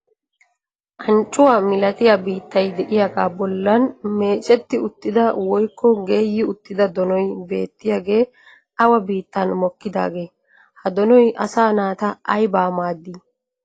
Anccuwa milatiya biittay de'iyagaa bollan meecetti uttida woykko geeyyi uttida donoy beettiyagee awa biittan mokkidaagee? Ha donoy asaa naata aybaa maaddii?